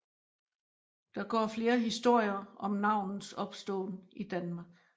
Der går flere historier om navnets opståen i Danmark